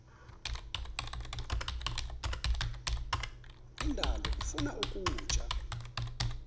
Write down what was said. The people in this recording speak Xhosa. indalo ifuna ukutya